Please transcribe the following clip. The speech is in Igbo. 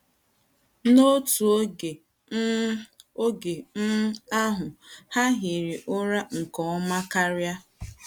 * N’otu ogé um ogé um ahụ̀, ha hiri ụra nke ọma karị́a.